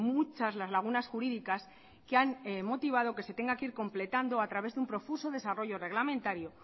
muchas las lagunas jurídicas que han motivado que se tenga que ir completando a través de un profuso desarrollo reglamentario